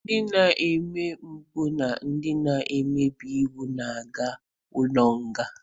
Ndị na-eme mpụ na ndị na-emebi iwu na-aga ụlọ nga.